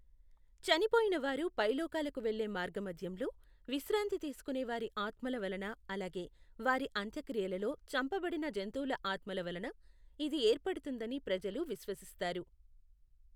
చనిపోయిన వారు పైలోకాలకు వెళ్ళే మార్గమధ్యంలో విశ్రాంతి తీసుకునే వారి ఆత్మల వలన, అలాగే వారి అంత్యక్రియలలో చంపబడిన జంతువుల ఆత్మల వలన ఇది ఏర్పడుతుందని ప్రజలు విశ్వసిస్తారు.